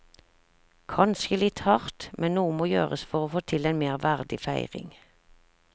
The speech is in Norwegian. Kanskje litt hardt, men noe må gjøres for å få til en mer verdig feiring.